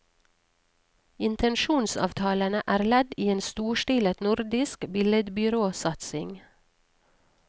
Intensjonsavtalene er ledd i en storstilet nordisk billedbyråsatsing.